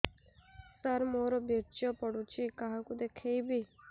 ସାର ମୋର ବୀର୍ଯ୍ୟ ପଢ଼ୁଛି କାହାକୁ ଦେଖେଇବି